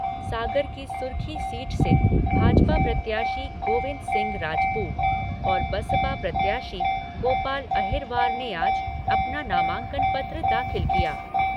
सागर की सुरखी सीट से भाजपा प्रत्याशी, गोविंद सिंह राजपूत और बसपा प्रत्याशी, गोपाल अहिरवार ने आज अपना नामांकन पत्र दाखिल किया।